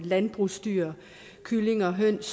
landbrugsdyr kyllinger høns